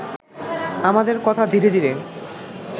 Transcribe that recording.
আমাদের কথা ধীরে ধীরে